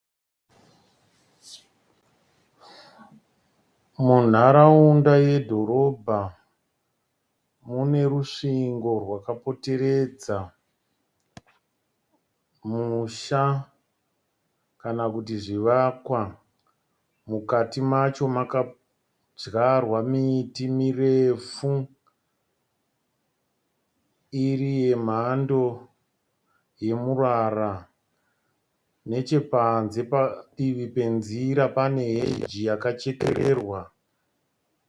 Munharaunda yedhorobha, munerusvingo rwakapoteredza. Musha kana kuti zvivakwa mukati macho makadyarwa miti mirefu. Iri yemhando yemurara. Nechepanze padivi penziri pane heji yakachekerererwa.